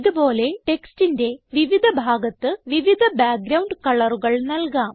ഇത് പോലെ ടെക്സ്റ്റിന്റെ വിവിധ ഭാഗത്ത് വിവിധ ബാക്ക്ഗ്രൌണ്ട് കളറുകൾ നല്കാം